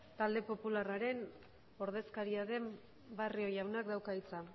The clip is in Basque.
talde popularraren ordezkaria den barrio jaunak dauka hitza